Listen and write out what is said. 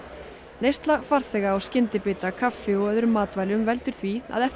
neysla farþega á skyndibita kaffi og öðrum matvælum veldur því að eftir